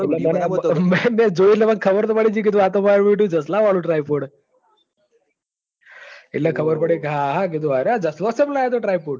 નાના જોયું એટલ ખબર પડીજય તી આ માર બેટું જશાલા વાળું typed હ એટલે ખબર પડ ક હા આ કે આ જશલો ચમ લાયો તો typod